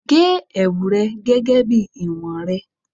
ge ẹwu rẹ gẹgẹ bi iwọn rẹ